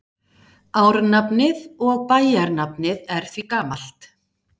Árnafnið og bæjarnafnið er því gamalt.